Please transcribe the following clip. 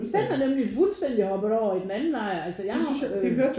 Den er nemlig fuldstændig hoppet over i den anden lejr altså jeg har øh